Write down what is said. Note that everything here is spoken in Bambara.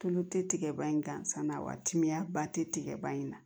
Tulu tɛ tigɛ ba in gansan na wa timiya ba te tigɛba in na